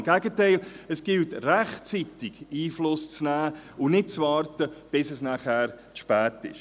Im Gegenteil, es gilt rechtzeitig Einfluss zu nehmen und nicht abzuwarten, bis es zu spät ist.